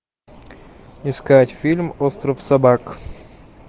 искать фильм остров собак